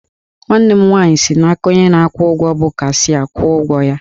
Nwanne m nwaanyị si n'aka onye na-akwụ ụgwọ bụ cashịa kwụọ ụgwọ ya